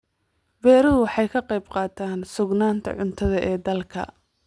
Beeruhu waxay ka qayb qaataan sugnaanta cuntada ee dalka.